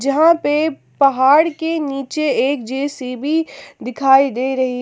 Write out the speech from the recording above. जहां पे पहाड़ के नीचे एक जे_सी_बी दिखाई दे रही है।